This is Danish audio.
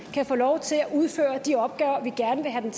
kan få lov til at udføre de opgaver vi gerne vil have